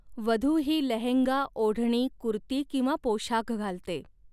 वधू ही लहंगा, ओढणी, कुर्ती किंवा पोशाख घालते.